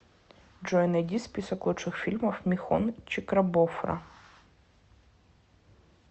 джой найди список лучших фильмов михон чикрабофра